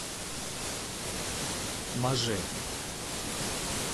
маже